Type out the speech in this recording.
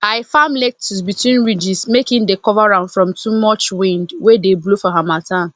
i farm lettuce between ridges make e dey cover am from too much wind wey dey blow for harmattan